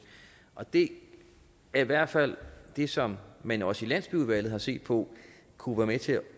det er i hvert fald det som man også i landsbyudvalget har set på kunne være med til at